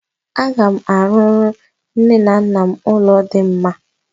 Aga m arụrụ nne na nna m ụlọ dị mma.